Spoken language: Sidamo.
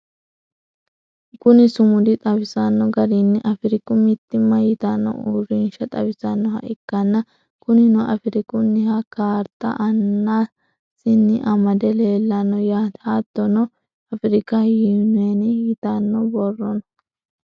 kuni sumudi xawisanno garinni afiriku mittimma yitanno uurinsha xawisannoha ikkanna, kunino afirikunniha kaarta aanasiinni amade leelanno yaate. hattono afrika yuneeni yitanno borro no.